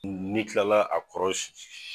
Ni i kilala a kɔrɔ